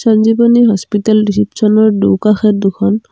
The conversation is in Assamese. সঞ্জীৱনী হস্পিতাল ৰেচেপচনৰ দুকাষে দুখন--